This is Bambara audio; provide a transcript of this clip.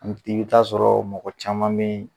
i be taa sɔrɔ mɔgɔ caman be ye